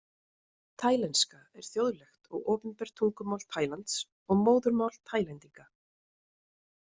Taílenska er þjóðlegt og opinbert tungumál Taílands og móðurmál Taílendinga.